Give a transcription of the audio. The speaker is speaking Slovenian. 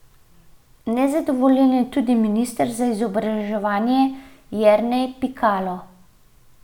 Nezadovoljen je tudi minister za izobraževanje Jernej Pikalo.